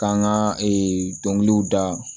K'an ka ee dɔnkiliw da